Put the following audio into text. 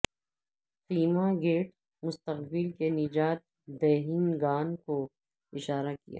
خیمہ گیٹ مستقبل کے نجات دہندگان کو اشارہ کیا